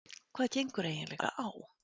Hvað gengur eiginlega á?